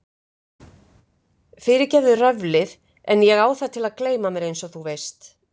Fyrirgefðu röflið en ég á það til að gleyma mér einsog þú veist.